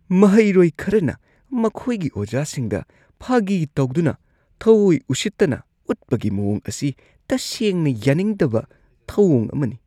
ꯃꯍꯩꯔꯣꯏ ꯈꯔꯅ ꯃꯈꯣꯏꯒꯤ ꯑꯣꯖꯥꯁꯤꯡꯗ ꯐꯥꯒꯤ ꯇꯧꯗꯨꯅ ꯊꯧꯋꯣꯏ ꯎꯁꯤꯠꯇꯅ ꯎꯠꯄꯒꯤ ꯃꯋꯣꯡ ꯑꯁꯤ ꯇꯁꯦꯡꯅ ꯌꯥꯅꯤꯡꯗꯕ ꯊꯧꯋꯣꯡ ꯑꯃꯅꯤ ꯫